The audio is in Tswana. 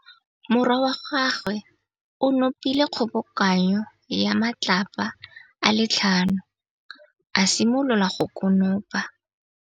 Morwa wa gagwe o nopile kgobokanô ya matlapa a le tlhano, a simolola go konopa.